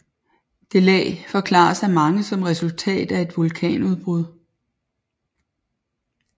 Det lag forklares af mange som resultat af et vulkanudbrud